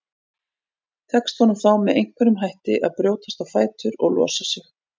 Tekst honum þá með einhverjum hætti að brjótast á fætur og losa sig.